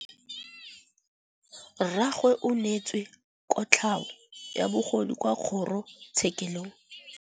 Rragwe o neetswe kotlhaô ya bogodu kwa kgoro tshêkêlông.